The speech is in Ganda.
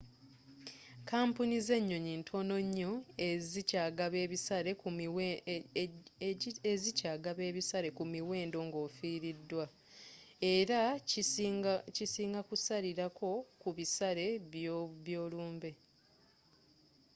kampuni z'ennyonyi ntono nnyo ezikyagaba ebisale ku miwendo ng'ofiriddwa era kisinga kusalirako ku bisale by'olumbe